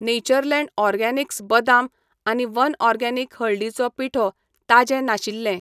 Natureland Organics बदाम आनी One Organic हळदीचो पिठो ताजें नाशिल्ले.